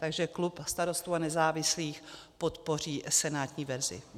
Takže klub Starostů a nezávislých podpoří senátní verzi.